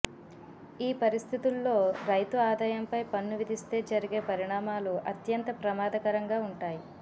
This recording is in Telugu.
ఈ పరిస్థితుల్లో రైతు ఆదాయంపై పన్ను విధిస్తే జరిగే పరిణామాలు అత్యంత ప్రమాదకరంగా ఉంటాయి